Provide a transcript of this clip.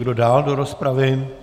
Kdo dál do rozpravy?